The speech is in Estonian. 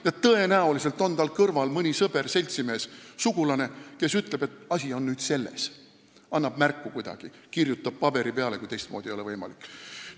Ja tõenäoliselt on tal kõrval mõni sõber, seltsimees või sugulane, kes ütleb, milles on asi, ja kes annab talle kuidagi märku: kirjutab paberi peale, kui teistmoodi ei ole võimalik.